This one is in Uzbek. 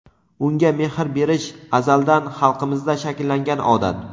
unga mehr berish - azaldan xalqimizda shakllangan odat.